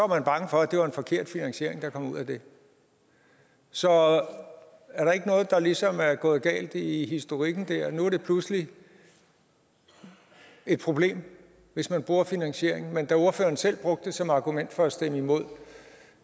man bange for at det var en forkert finansiering der kom ud af det så er der ikke noget der ligesom er gået galt i historikken dér nu er det pludselig et problem hvis man bruger finansieringen men da ordføreren selv brugte det som argument for at stemme imod